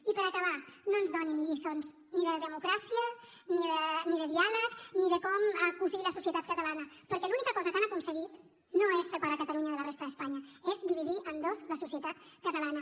i per acabar no ens donin lliçons ni de democràcia ni de diàleg ni de com cosir la societat catalana perquè l’única cosa que han aconseguit no és separar catalunya de la resta d’espanya és dividir en dos la societat catalana